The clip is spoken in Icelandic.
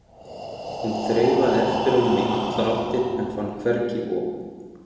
Hún þreifaði eftir honum í allar áttir en fann hvergi op.